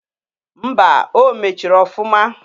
Mba! O mechiri ọfụma.